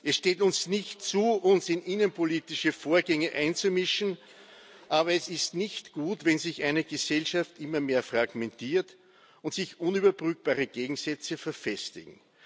Es steht uns nicht zu, uns in innenpolitische Vorgänge einzumischen, aber es ist nicht gut, wenn sich eine Gesellschaft immer mehr fragmentiert und sich unüberbrückbare Gegensätze verfestigen.